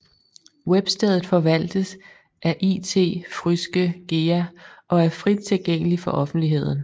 Webstedet forvaltes af It Fryske Gea og er frit tilgængeligt for offentligheden